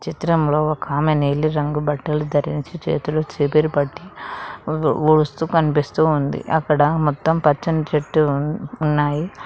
చిత్రంలో ఒక ఆమె నీళ్లు రంగు బట్టలు ధరించి చేతులు చీపిరి పట్టి వు ఉడుస్తూ కనిపిస్తూ ఉంది అక్కడ మొత్తం పచ్చని చెట్టు ఉన్నాయి.